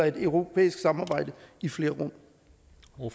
et europæisk samarbejde i flere